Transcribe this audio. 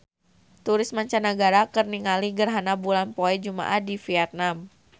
Turis mancanagara keur ningali gerhana bulan poe Jumaah di Vietman